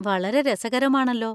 വളരെ രസകരമാണല്ലോ.